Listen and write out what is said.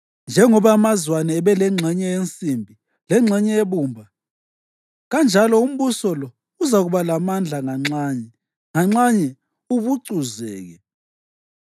Njengoba amazwane abelengxenye yensimbi, lengxenye yebumba, kanjalo umbuso lo uzakuba lamandla nganxanye, nganxanye ubucuzeke.